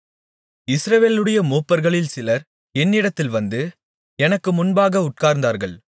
இஸ்ரவேலுடைய மூப்பர்களில் சிலர் என்னிடத்தில் வந்து எனக்கு முன்பாக உட்கார்ந்தார்கள்